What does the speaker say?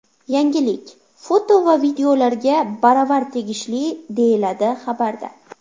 Yangilik foto va videolarga baravar tegishli, deyiladi xabarda.